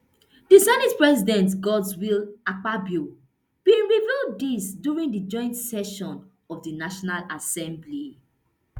di senate president godswill akpabio bin reveal dis during di joint session of di national assembly